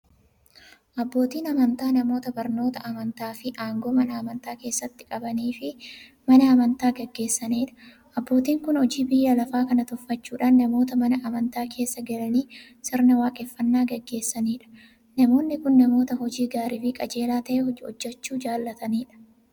Abbootiin amantaa namoota barnoota amantaafi aangoo Mana amantaa keessatti qabaniifi Mana amantaa gaggeessaniidha. Abbootiin kun hojii biyya lafaa kana tuffachuudhan namoota Mana amantaa keessa galanii sirna waaqeffannaa gaggeessaniidha. Namoonni kun, namoota hojii gaariifi qajeelaa ta'e hojjachuu jaalataniidha.